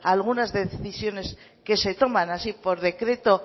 a algunas decisiones que se toman así por decreto